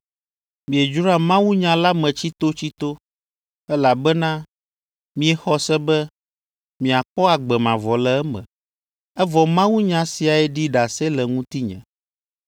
Miedzroa mawunya la me tsitotsito, elabena miexɔ se be miakpɔ agbe mavɔ le eme. Evɔ mawunya siae ɖi ɖase le ŋutinye,